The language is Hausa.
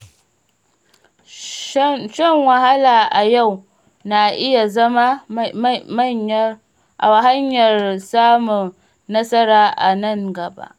Shan wahala a yau na iya zama hanyar samun nasara a nan gaba.